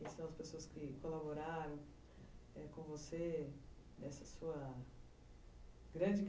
quem são as pessoas que colaboraram, é, com você, nessa sua grande